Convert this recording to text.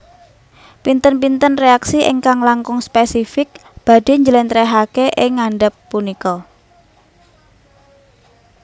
Pinten pinten reaksi ingkang langkung spesifik badhe njelentrehake ing ngandap punika